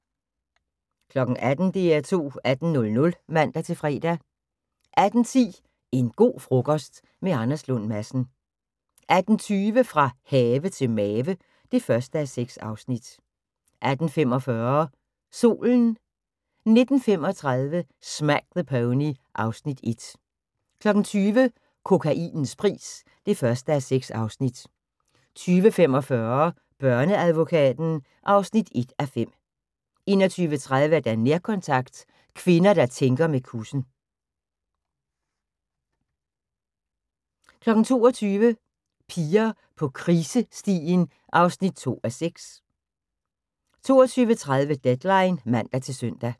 18:00: DR2 18.00 (man-fre) 18:10: En go' frokost – med Anders Lund Madsen 18:20: Fra have til mave (1:6) 18:45: Solen 19:35: Smack the Pony (Afs. 1) 20:00: Kokainens pris (1:6) 20:45: Børneadvokaten (1:5) 21:30: Nærkontakt – kvinder der tænker med kussen 22:00: Piger på krisestien (2:6) 22:30: Deadline (man-søn)